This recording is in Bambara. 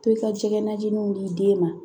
Pezɔn jɛgɛ najininw di den ma